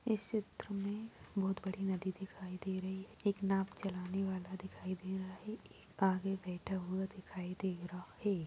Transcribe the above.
इस चित्र में बहोत बड़ी नदी दिखाई दे रही। एक नाव चलाने वाला दिखाई दे रहा है। एक आगे बैठा हुआ दिखाई दे रहा है।